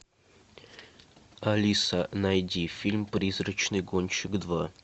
алиса найди фильм призрачный гонщик два